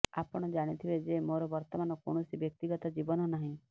ଆପଣ ଜାଣିଥିବେ ଯେ ମୋର ବର୍ତ୍ତମାନ କୌଣସି ବ୍ୟକ୍ତିଗତ ଜୀବନ ନାହିଁ